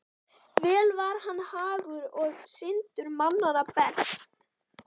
Vel var hann hagur og syndur manna best.